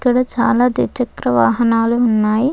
ఇక్కడ చాలా ద్విచక్ర వాహనాలు ఉన్నాయి.